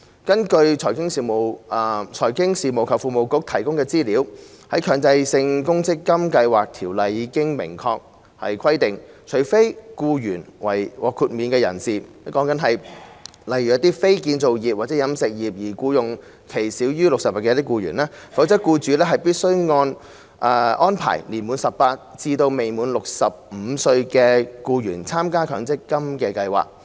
根據財經事務及庫務局提供的資料，《強制性公積金計劃條例》已明確規定，除非僱員為獲豁免人士，例如非建造業或飲食業而僱用期少於60日的僱員，否則僱主必須安排年滿18歲至未滿65歲的僱員參加強積金計劃。